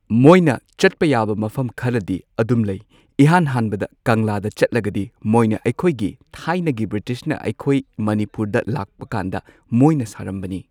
ꯃꯣꯏꯅ ꯆꯠꯄ ꯌꯥꯕ ꯃꯐꯝ ꯈꯔꯗꯤ ꯑꯗꯨꯝ ꯂꯩ ꯏꯍꯥꯟ ꯍꯥꯟꯕꯗ ꯀꯪꯂꯥꯗ ꯆꯠꯂꯒꯗꯤ ꯃꯣꯏꯅ ꯑꯩꯈꯣꯏꯒꯤ ꯊꯥꯏꯅꯒꯤ ꯕ꯭ꯔꯤꯇꯤꯁꯅ ꯑꯩꯈꯣꯏ ꯃꯅꯤꯄꯨꯔꯗ ꯂꯥꯛꯄꯀꯥꯟꯗ ꯃꯣꯏꯅ ꯁꯥꯔꯝꯕꯅꯤ꯫